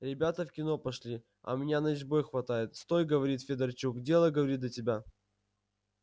ребята в кино пошли а меня начбой хватает стой говорит федорчук дело говорит до тебя